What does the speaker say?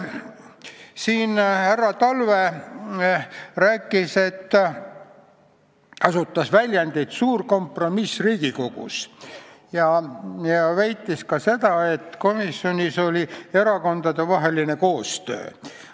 Härra Talve kasutas väljendit "suur kompromiss Riigikogus" ja väitis ka seda, et komisjonis oli erakondadevaheline koostöö.